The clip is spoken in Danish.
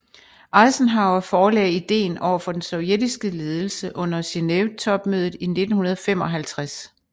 Eisenhower forelagde ideen overfor den sovjetiske ledelse under Genevetopmødet i 1955